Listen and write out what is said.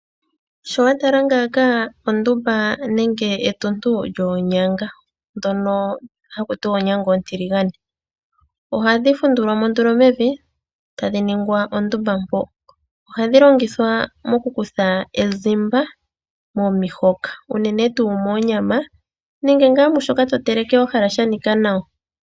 Sho wa tala ngaaka ondumba nenge etuntu lyoonyanga ndhono haku tiwa oonyanga oontiligane. Ohadhi fundulwa mo nduno mevi, tadhi ningwa ondumba mpoka. Ohadhi longithwa okukutha ezimba momihoka unene tuu moonyama nenge mu shoka to teleke wa hala sha nika nawa.